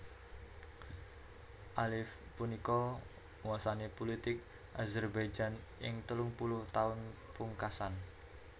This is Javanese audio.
Aliyev punika nguwasani pulitik Azerbaijan ing telung puluh taun pungkasan